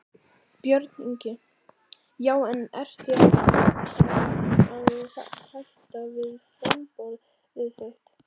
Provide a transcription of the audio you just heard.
Björn Ingi: Já en ertu að hugsa um að hætta við framboðið þitt?